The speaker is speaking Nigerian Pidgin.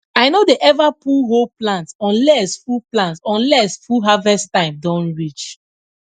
i no dey ever pull whole plant unless full plant unless full harvest time don reach